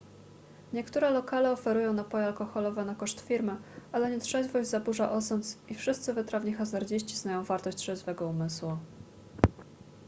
niektóre lokale oferują napoje alkoholowe na koszt firmy ale nietrzeźwość zaburza osąd i wszyscy wytrawni hazardziści znają wartość trzeźwego umysłu